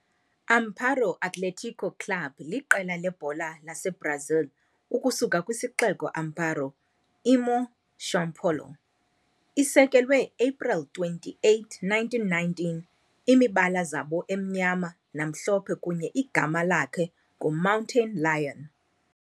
Amparo Athlético Club liqela lebhola saseBrazil ukusuka kwisixeko Amparo, imo São Paulo. Isekelwe April 28, 1919, imibala zabo emnyama namhlophe kunye igama lakhe ngu Mountain Lion.